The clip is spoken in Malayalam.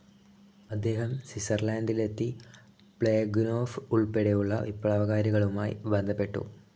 അദ്ദേഹം സ്വിസർലൻ്റിലെത്തി പ്ളേഖനോഫ് ഉൾപ്പെടെയുള്ള വിപ്ലവകാരികളുമായി ബന്ധപ്പെട്ടു.